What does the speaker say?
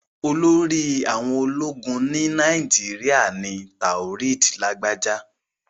Olórí àwọn ológun ilẹ̀ Nàìjíríà ni Taoreed Lagbaja.